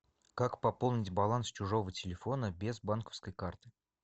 как пополнить баланс чужого телефона без банковской карты